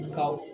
Nka